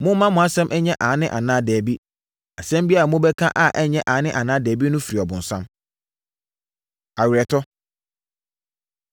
Momma mo nsɛm nyɛ ‘Aane’ anaa ‘Dabi.’ Asɛm biara a wobɛka a ɛnyɛ aane anaa dabi no firi ɔbonsam. Aweretɔ